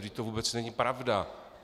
Vždyť to vůbec není pravda.